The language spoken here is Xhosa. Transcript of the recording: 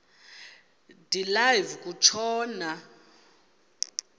de live kutshona